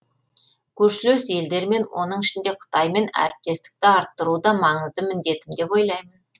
көршілес елдермен оның ішінде қытаймен әріптестікті арттыру да маңызды міндетім деп ойлаймын